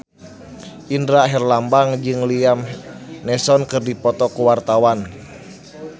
Indra Herlambang jeung Liam Neeson keur dipoto ku wartawan